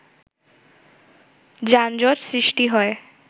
যানজট সৃষ্টি হয়